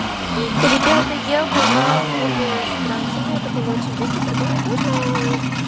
ребята я была в клубе с трансами это было очень весело прикольно и классно